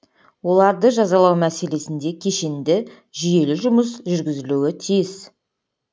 оларды жазалау мәселесінде кешенді жүйелі жұмыс жүргізілуі тиіс